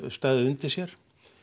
staðið undir sér